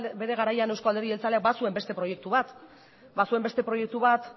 bere garaian eusko alderdi jeltzaleak bazuen beste proiektu bat bazuen beste proiektu bat